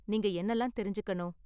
நீங்க என்னலாம் தெரிஞ்சுக்கணும்?